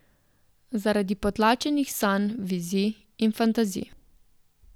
Zaradi potlačenih sanj, vizij in fantazij.